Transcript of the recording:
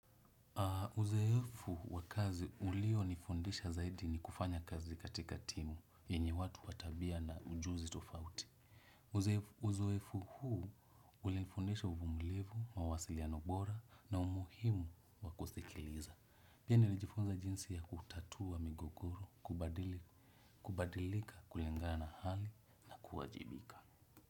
Uzoefu wa kazi ulionifundisha zaidi ni kufanya kazi katika timu, yenye watu wa tabia na ujuzi tofauti. Uzoefu huu ulinifundisha uvumilivu mawasiliano bora na umuhimu wa kusikiliza. Pia nilijifunza jinsi ya kutatua migogoro, kubadilika kulengana hali, kuwajibika.